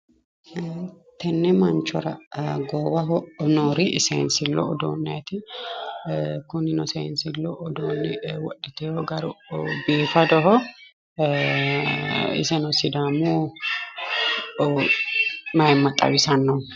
Tenne manchora goowaho noori sensillu udduuneti, kuninno sensillu uddunni woddhitewo garu biifaddoho, isseno sidaamu mayiima xawissaano!